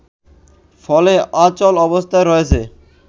ফলে অচল অবস্থায় রয়েছে